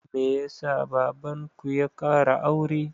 Me ya sa baban ku ya ƙara aure?